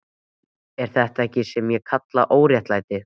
Það er þetta sem ég kalla óréttlæti.